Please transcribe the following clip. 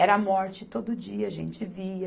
Era morte todo dia, a gente via.